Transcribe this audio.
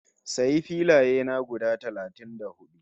Sayi filaye na guda talatin da hudu